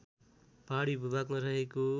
पहाडी भूभागमा रहेको